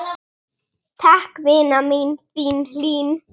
Takk, vina mín, þín Hlín.